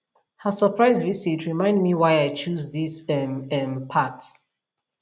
her surprise visit remind me why i choose this um um path